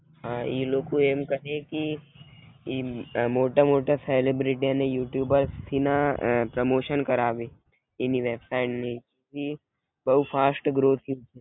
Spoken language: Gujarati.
હા ઈ લોકો એમ કહે કી ઈ અમ આ મોટા મોટા સેલિબ્રિટી અને યુટ્યુબર થી ના પ્રોમોશન કરાવે એની વેબ સાઇટ ની ઈ બવ ફાસ્ટ ગરોથિન્ગ